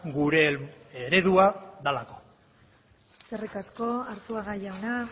gure eredua delako eskerrik asko arzuaga jauna